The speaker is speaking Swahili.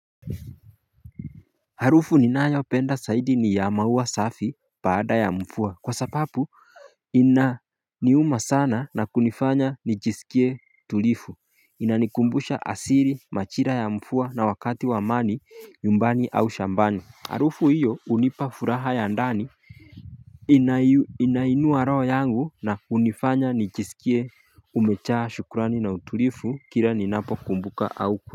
Harufu ninayopenda zaidi ni ya maua safi baada ya mvua kwa sababu inaniuma sana na kunifanya nijisikie tulivu inanikumbusha asili majira ya mvua na wakati wa amani nyumbani au shambani. Harufu iyo hunipa furaha ya ndani. Inainua roho yangu na kunifanya nijisikie kumejaa shukrani na utulivu kila ninapokumbuka au.